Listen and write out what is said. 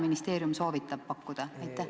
Mida ministeerium soovitab pakkuda?